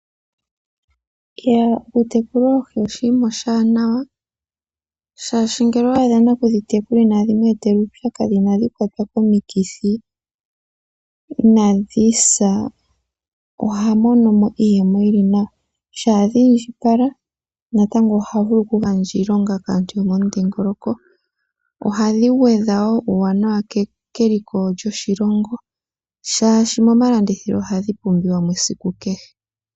Okutekula oohi oshinima oshiwanawa, shaashi ngele owa adha nakudhitekula inadhi mu etela uupyakadhi, inadhi kwatwa komikithi, inadhi sa, oha mono mo iiyemo yi li nawa. Shaa dhi indjipala natango oha vulu okugandja iilonga kaantu yomudhingoloko. Ohadhi gwedha wo puuwanawa keliko lyoshilongo, shaashi momalandithilo ohadhi pumbiwa mo esiku kehe.